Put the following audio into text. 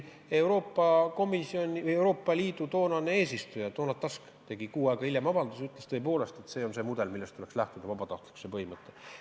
Euroopa Ülemkogu toonane eesistuja Donald Tusk tegi kuu aega hiljem avalduse, kus ütles, et tõepoolest see on mudel, millest tuleks lähtuda: vabatahtlikkuse põhimõte.